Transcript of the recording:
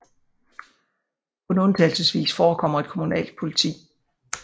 Kun undtagelsesvis forekommer et kommunalt politi